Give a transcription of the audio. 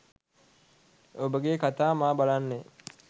ඔබගේ කතා මා බලන්නේ